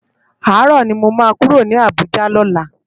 Àárò ni mó má kúró ni Abuja lòlá